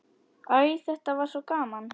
Æ, þetta var svo gaman.